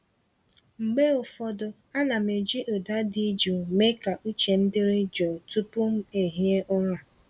Mgbe ụfọdụ, ana m eji ụda dị jụụ mee ka uche m dịrị jụụ tupu m ehiere ụra.